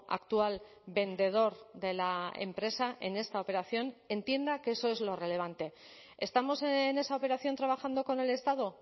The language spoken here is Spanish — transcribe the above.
actual vendedor de la empresa en esta operación entienda que eso es lo relevante estamos en esa operación trabajando con el estado